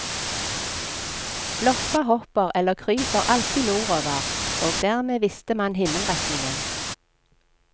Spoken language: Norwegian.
Loppa hopper eller kryper alltid nordover, og dermed visste man himmelretningen.